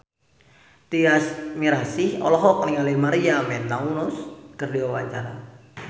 Tyas Mirasih olohok ningali Maria Menounos keur diwawancara